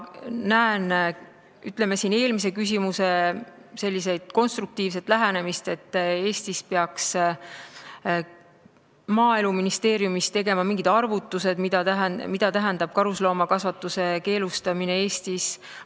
Nagu eelmise küsimusega seoses selgus, vaja on konstruktiivset lähenemist, Maaeluministeerium peaks tegema arvutused, mida tähendab karusloomakasvatuse keelustamine Eestis.